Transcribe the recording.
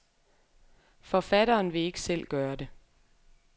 Forfatteren vil ikke selv gøre det.